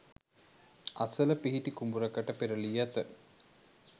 අසල පිහිටි කුඹුරකට පෙරළී ඇත.